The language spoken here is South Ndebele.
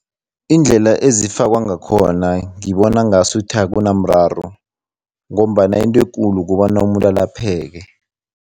Iindlela ezifakwa ngakhona, ngibona ngasuthi akunamraro ngombana into ekulu kobana umuntu alapheke.